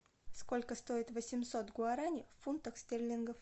сколько стоит восемьсот гуарани в фунтах стерлингов